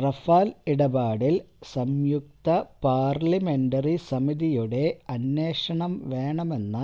Rafale ഇടപാടിൽ സംയുക്ത parliamentary സമിതിയുടെ അന്വേഷണം വേണമെന്ന